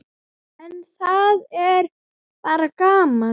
En það er bara gaman.